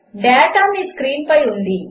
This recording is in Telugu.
డేటా మీ స్క్రీన్పై ఉంది